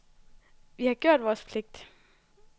Vi har gjort vores pligt.